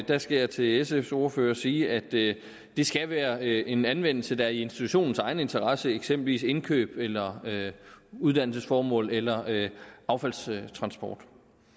der skal jeg til sfs ordfører sige at det skal være en anvendelse der er i institutionens egen interesse eksempelvis indkøb eller uddannelsesformål eller affaldstransport